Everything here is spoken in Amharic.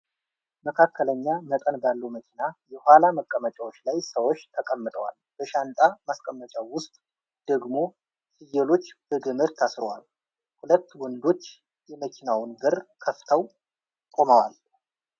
መካከለኛ መጠን ባለው መኪና የኋላ መቀመጫዎች ላይ ሰዎች ተቀምጠዋል፣ በሻንጣ ማስቀመጫው ውስጥ ደግሞ ፍየሎች በገመድ ታስረዋል። ሁለት ወንዶች የመኪናውን በር ከፍተው ቆመዋል።